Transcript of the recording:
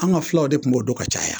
An ka fulaw de tun b'o don ka caya